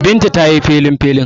Binta ta yi felinfelin.